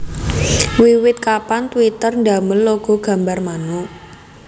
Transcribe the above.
Wiwit kapan Twitter ndamel logo gambar manuk